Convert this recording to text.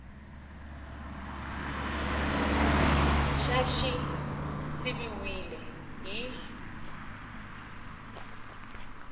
xa xi siviwile hi x